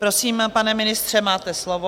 Prosím, pane ministře, máte slovo.